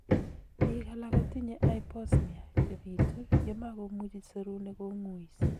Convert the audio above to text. Biik alak kotinye hyposmia, chebitu yemakomuchi serunek kong'uis